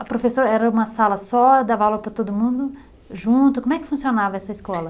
A professora era uma sala só, dava aula para todo mundo, junto, como é que funcionava essa escola?